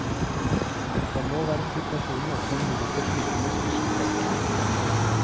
Den nåværende situasjonen åpner muligheter som ikke må skusles vekk.